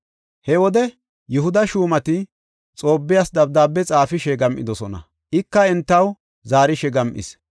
He wode Yihuda shuumati Xoobbiyas dabdaabe xaafishe gam7idosona; ika entaw zaarishe gam7is.